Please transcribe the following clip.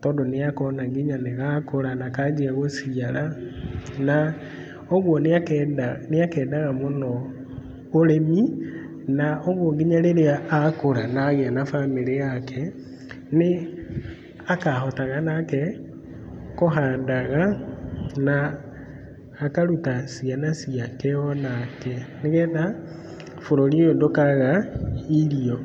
tondũ nĩakona nginya nĩgakũra na kanjia gũciara, na ũguo nĩakenda níĩkendaga ũrĩmi na ũguo nginya rĩrĩa akũra na agĩa na bamĩrĩ yake nĩakahotaga nake kũhandaga na akaruta ciana ciake onake nĩgetha bũrũri ũyũ ndũkaga irio.